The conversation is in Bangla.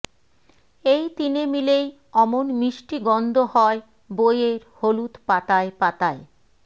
এই তিনে মিলেই অমন মিষ্টি গন্ধ হয় বইয়ের হলুদ পাতায় পাতায়